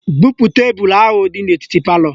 Bupu tebelu ahụ dị n'etiti palọ